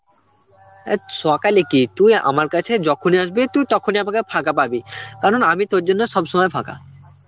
অ্যাঁ, সকালে কি তুই আমার কাছে যখনি আসবি তুই তখনই আমাকে ফাঁকা পাবি কারণ আমি তোর জন্য সব সময় ফাঁকা.